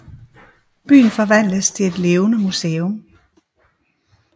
Byen forvandles til et levende museum